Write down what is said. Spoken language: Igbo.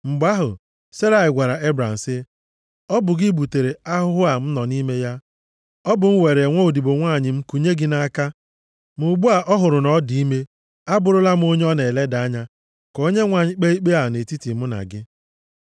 Mgbe ahụ, Serai gwara Ebram sị, “Ọ bụ gị butere ahụhụ a m nọ nʼime ya. Ọ bụ m were nwaodibo nwanyị m kunye gị nʼaka, ma ugbu a ọ hụrụ na ọ dị ime, abụrụla m onye ọ na-eleda anya. Ka Onyenwe anyị kpee ikpe a nʼetiti mụ na gị.”